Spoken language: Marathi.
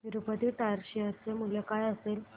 तिरूपती टायर्स शेअर चे मूल्य काय असेल